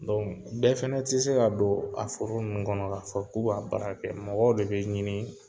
bɛɛ fana tɛ se ka don a foro ninnu kɔnɔ k'a fɔ k'u b'a baara kɛ mɔgɔw de bɛ ɲini